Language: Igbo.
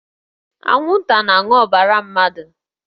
Anwụnta na-aṅụ ọbara mmadụ